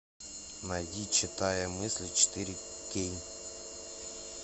найди читая мысли четыре кей